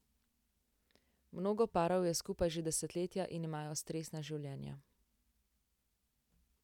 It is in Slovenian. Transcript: Mnogo parov je skupaj že desetletja in imajo stresna življenja.